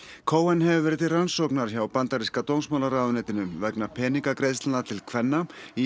cohen hefur verið til rannsóknar hjá bandaríska dómsmálaráðuneytinu vegna peningagreiðslna til kvenna í